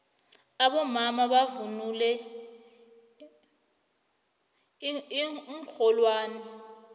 abomama bavunula iinxholwani